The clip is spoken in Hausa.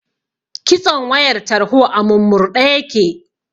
Kitson wayar tarho a murmurɗe yake.